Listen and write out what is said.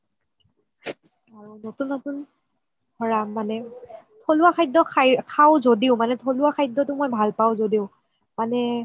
আৰু নতুন নতুন থলুৱা খাদ্য খাও য্দিও মানে থলুৱা খাদ্যটো মই ভাল পাও য্দিও মানে